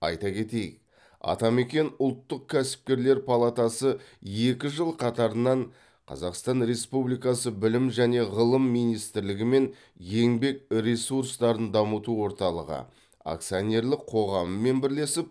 айта кетейік атамекен ұлттық кәсіпкерлер палатасы екі жыл қатарынан қазақстан республикасы білім және ғылым министрлігі мен еңбек ресурстарын дамыту орталығы акционерлік қоғамымен бірлесіп